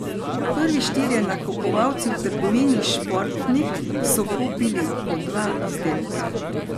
Prvi štirje nakupovalci v trgovini Športnik so kupili po dva izdelka.